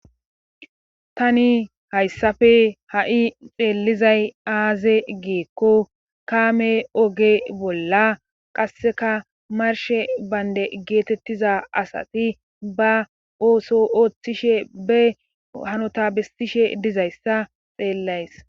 tani hayssafe ha7i xeelizay aaze geekko kaame oge bolla qasseka marshe baynde geetettiza asati ba ooso ooththishe be hanota bessishe dizayssa xeellays